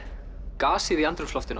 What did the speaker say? gasið í andrúmsloftinu